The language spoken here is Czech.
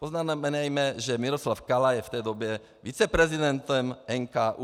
Poznamenejme, že Miroslav Kala je v té době viceprezidentem NKÚ.